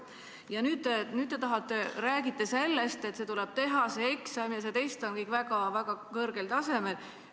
Nüüd te räägite sellest, et see eksam tuleb teha ja see test on väga kõrgel tasemel.